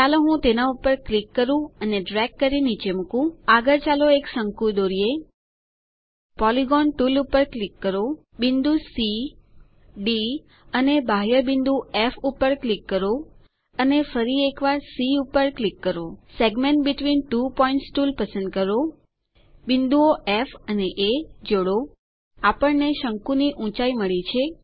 ચાલો હું તેના પર ક્લિક કરૂ ડ્રેગ કરી નીચે મુકું આગળ ચાલો એક શંકુ દોરીએ પોલિગોન ટૂલ પર ક્લિક કરો બિંદુ સી ડી અને બાહ્ય બિંદુ ફ પર ક્લિક કરો અને ફરી એક વાર સી પર ક્લિક કરો segments between two points tool પસંદ કરો બિંદુઓ ફ અને એ જોડો આપણને શંકુની ઊંચાઇ મળી છે